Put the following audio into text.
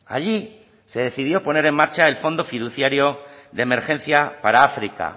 allí se decidió poner en marcha el fondo fiduciario de emergencia para áfrica